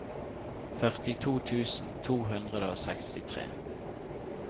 førtito tusen to hundre og sekstitre